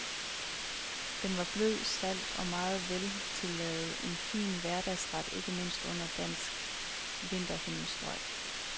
Den var blød, salt og meget veltillavet, en fin hverdagsret, ikke mindst under danske vinterhimmelstrøg.